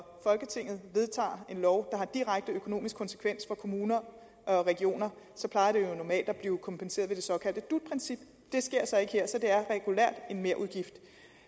folketinget vedtager en lov der har direkte økonomisk konsekvens for kommuner og regioner så plejer de jo normalt at blive kompenseret ved det såkaldte dut princip det sker så ikke her så det er regulært en merudgift